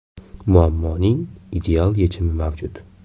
Muammoning ideal yechimi mavjud.